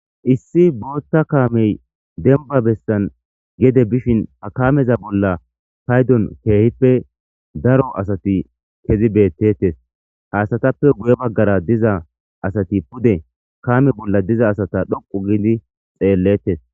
Issi booththa kaamey dembba bessan gedde bishin h kaameza bolla payddon keehippe daro asati kezi betetes ha asatuppe guye baggara diza asati pude kaame bolla asata dhoqu histidii xelletes